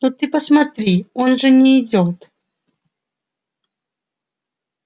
ну ты посмотри он же не идёт